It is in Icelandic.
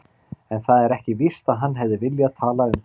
En það er ekki víst að hann hefði viljað tala um þetta.